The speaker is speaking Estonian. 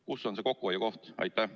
Kus on see kokkuhoiukoht?